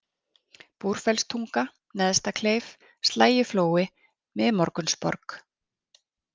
Búrfellstunga, Neðstakleif, Slægjuflói, Miðmorgunsborg